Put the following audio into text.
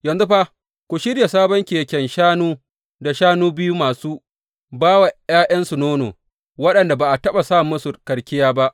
Yanzu fa ku shirya sabon keken shanu da shanu biyu masu ba wa ’ya’yansu nono, waɗanda ba a taɓa sa musu karkiya ba.